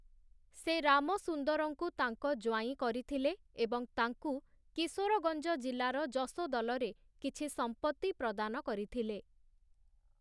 ସେ ରାମସୁନ୍ଦରଙ୍କୁ ତାଙ୍କ ଜ୍ୱାଇଁ କରିଥିଲେ ଏବଂ ତାଙ୍କୁ କିଶୋରଗଞ୍ଜ ଜିଲ୍ଲାର ଯଶୋଦଲରେ କିଛି ସମ୍ପତ୍ତି ପ୍ରଦାନ କରିଥିଲେ ।